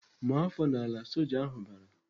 "Maa afọ n'ala!" Soja ahụ bara.